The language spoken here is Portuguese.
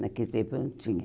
Naquele tempo não tinha.